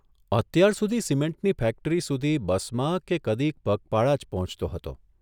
અત્યારસુધી સિમેન્ટની ફેક્ટરી સુધી બસમાં કે કદીક પગપાળા જ પહોંચતો હતો.